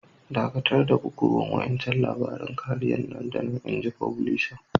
Dakatar da bugowan wa'incan labarin kariya nan da nan! Inji fublisan.